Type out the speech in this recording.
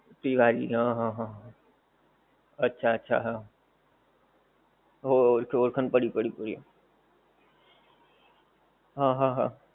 તિવારી હં હં હં હં. અચ્છા અચ્છા હં. હો ઓળખાણ પડી પડી પડી. હા હા હા.